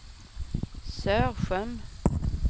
Sörsjön